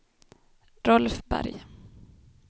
Rolf Berg